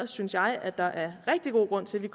synes jeg at der er rigtig god grund til at vi